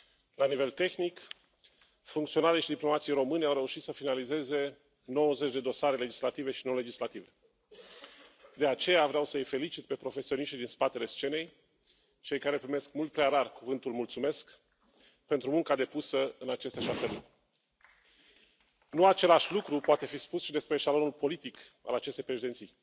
La nivel tehnic, funcționarii și diplomații români au reușit să finalizeze 90 de dosare legislative și non legislative. De aceea, vreau să i felicit pe profesioniștii din spatele scenei, cei care primesc mult prea rar cuvântul mulțumesc pentru munca depusă în aceste Nu același lucru poate fi spus și despre eșalonul politic al acestei președinții.